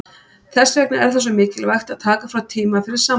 Þess vegna er það svo mikilvægt að taka frá tíma fyrir sambandið.